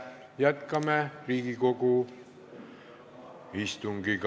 Jätkame Riigikogu istungit.